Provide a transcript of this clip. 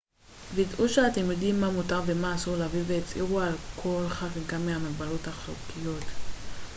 ודאו שאתם יודעים מה מותר ומה אסור להביא והצהירו על כל חריגה מהמגבלות החוקיות